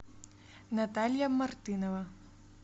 наталья мартынова